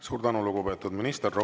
Suur tänu, lugupeetud minister!